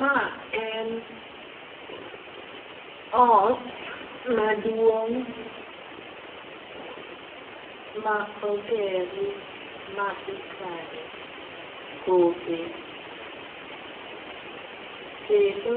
Ma en ot maduong' ma oger ma ikane kothe. Kendo